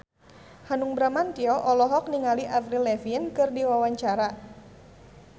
Hanung Bramantyo olohok ningali Avril Lavigne keur diwawancara